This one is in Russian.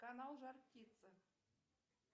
канал жар птица